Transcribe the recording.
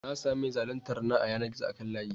Na sami mai zaluntar na a yanar gizo akan layi.